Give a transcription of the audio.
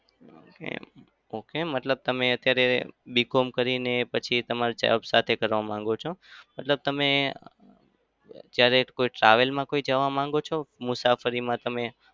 okay મતલબ તમે અત્યારે BCom કરીને પછી તમારે job સાથે કરવા માગો છો. મતલબ તમે ક્યારે કોઈ travel માં કોઈ જવા માંગો છો? મુસાફરીમાં તમે?